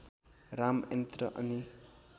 राम यन्त्र अनि